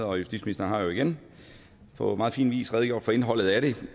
og justitsministeren har igen på meget fin vis redegjort for indholdet af det